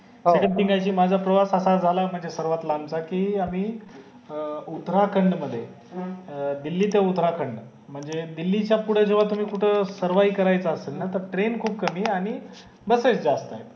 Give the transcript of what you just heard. माझा प्रवास असा झाला म्हणजे सर्वागत लांब चा कि आम्ही अं उतराखंड मध्ये दिल्ली ते उतराखंड म्हणजे दिल्ली च्या पुठे जेव्हा तुम्ही कुठं सर्वाही करायचे असेल ना त train खूप कमी आणि बसेस खूप जास्त आहे